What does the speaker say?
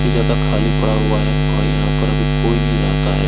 इसलिए ज्यादा खाली पड़ा हुआ है और यहाँ पर अभी कोई नहीं रहता हैं।